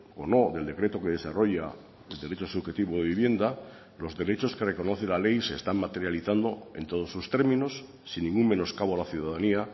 o no del decreto que desarrolla el derecho subjetivo de vivienda los derechos que reconoce la ley se están materializando en todos sus términos sin ningún menoscabo a la ciudadanía